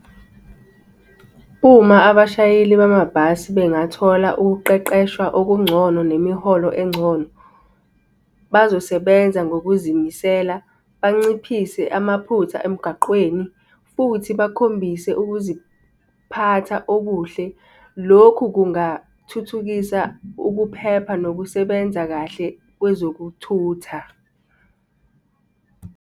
Uma abashayeli bamabhasi bengathola ukuqeqeshwa okungcono nemiholo engcono, bazosebenza ngokuzimisela, banciphise amaphutha emgaqweni, futhi bakhombise ukuziphatha okuhle. Lokhu kungathuthukisa ukuphepha nokusebenza kahle kwezokuthutha.